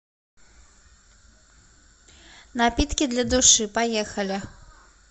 напитки для души поехали